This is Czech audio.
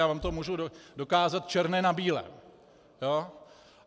Já vám to můžu dokázat černé na bílém.